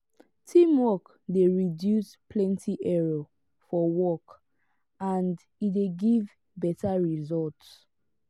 teamwork de reduce plenty error for work and e de give better results